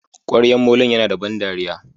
kwaryan molon Yana da ban dariya.